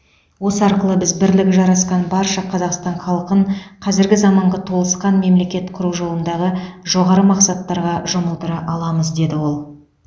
осы арқылы біз бірлігі жарасқан барша қазақстан халқын қазіргі заманғы толысқан мемлекет құру жолындағы жоғары мақсаттарға жұмылдыра аламыз деді ол